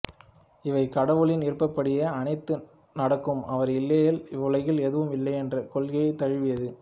இவை கடவுளின் விருப்பப்படியே அனைத்தும் நடக்கும் அவர் இல்லையேல் இவ்வுலகில் எதுவும் இல்லை என்ற கொள்கையை தழுவியது